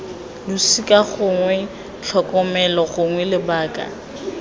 losika gongwe tlhokomelo gongwe lebaka